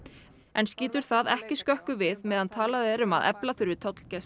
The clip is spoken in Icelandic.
en skýtur það ekki skökku við meðan talað er um að efla þurfi tollgæslu